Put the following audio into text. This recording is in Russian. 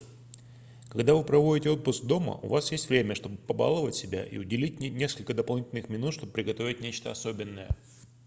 когда вы проводите отпуск дома у вас есть время чтобы побаловать себя и уделить несколько дополнительных минут чтобы приготовить нечто особенное